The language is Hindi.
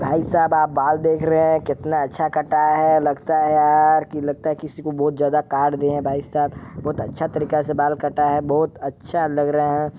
भाई साहब आप बाल देख रहे है कितना अच्छा कटा है लगता है यार लगता है किसी को बहोत ज्यादा काट दिया है भाई साहब बहोत अच्छा से बाल कटा है बहोत अच्छा लग रहा है।